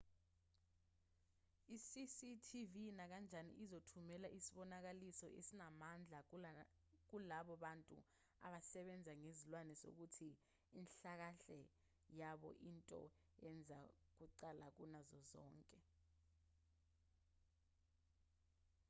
i-cctv nakanjani izothumela isibonakaliso esinamandla kulabo bantu abasebenza ngezilwane sokuthi inhlalakahle yabo iyinto eza kuqala kunazo zonke